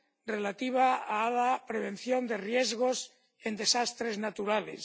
relativa a la prevención de riesgos en desastres naturales